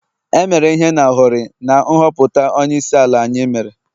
e mere ihe n' hori na nhọpụta onyeisiala anyị mere